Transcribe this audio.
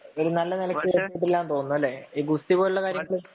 ഒരു നല്ല നെലയ്ക്ക് എത്തില്ലാ എന്ന് തോന്നുന്നു. അല്ലെ. ഈ ഗുസ്തി പോലുള്ള കാര്യങ്ങള്